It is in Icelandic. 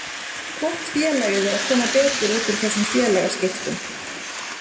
Hvort félagið er að koma betur út úr þessum félagaskiptum?